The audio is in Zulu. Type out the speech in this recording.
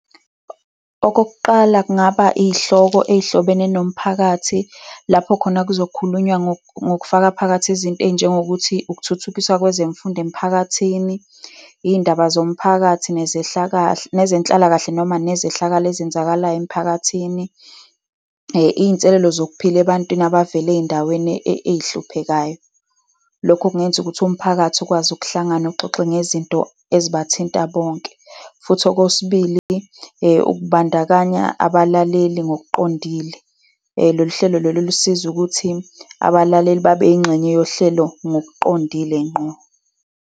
Okokuqala, kungaba iy'hloko ezihlobene nomphakathi, lapho khona kuzokhulunywa ngokufaka phakathi izinto ey'njengokuthi ukuthuthukiswa kwezemfundo emphakathini, iy'indaba zomphakathi nezenhlalakahle noma nezehlakalo ezenzakalayo emiphakathini. Iy'nselelo zokuphila ebantwini abavele ey'ndaweni ey'hluphekayo. Lokho kungenza ukuthi umphakathi ukwazi ukuhlangana uxoxe ngezinto ezibathinta bonke. Futhi okwesibili, ukubandakanya abalaleli ngokuqondile. Lolu hlelo lolu lusizo ukuthi abalaleli babe yingxenye yohlelo ngokuqondile ngqo.